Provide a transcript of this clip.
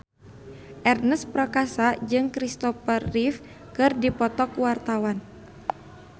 Ernest Prakasa jeung Kristopher Reeve keur dipoto ku wartawan